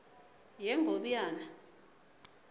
yengobiyane